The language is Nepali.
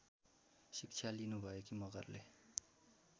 शिक्षा लिनुभएकी मगरले